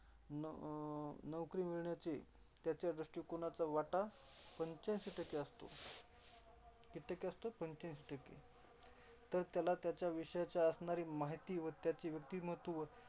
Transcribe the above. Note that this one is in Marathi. अं नोकरी मिळण्याची त्याच्या दृष्टीकोनाचा वाटा पंचाऐंशी टक्के असतो. किती टक्के असतो, पंचाऐंशी टक्के तर त्याला त्याच्या विषयाची असणारी माहिती व त्याचे व्यक्तिमत्त्व.